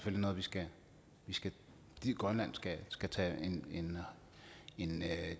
noget grønland skal tage en